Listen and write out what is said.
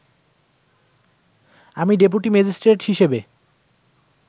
আমি deputy magistrate হিসেবে